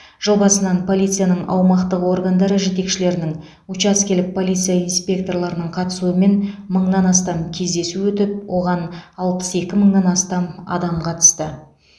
жыл басынан полицияның аумақтық органдары жетекшілерінің учаскелік полиция инспекторларының қатысуымен мыңнан астам кездесу өтіп оған алпыс екі мыңнан астам адам қатысты